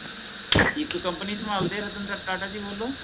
ਇਕ Company ਸੰਭਾਲਦੇ ਹੈ ਰਤਨ ਟਾ ਟਾਟਾ ਜੀ ਬੋਲੋ